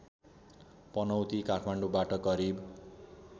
पनौती काठमाडौँबाट करिब